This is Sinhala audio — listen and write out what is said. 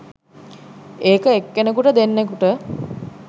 ඒක එක්කෙනෙකුට දෙන්නෙකුට